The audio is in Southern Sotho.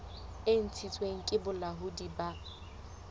e ntshitsweng ke bolaodi bo